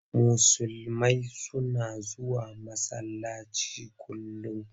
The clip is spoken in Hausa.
Musulmai suna zuwa masallaci kullum.